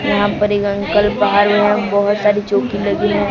यहां पर एक अंकल बाहर में यहां बहोत सारी चौकी लगी है।